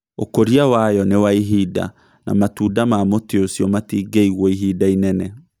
Ũkũria wayo ni wa ihinda na matunda ma mũtĩ ũcio matingĩigwo ihinda inene